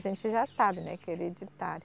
A gente já sabe, né, que é hereditário.